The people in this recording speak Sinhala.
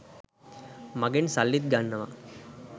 මගෙන් සල්ලිත් ගන්නවා.